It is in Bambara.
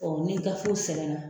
Ɔ ni gafew sɛbɛnna